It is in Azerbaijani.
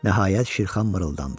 Nəhayət Şirxan mırıldandı.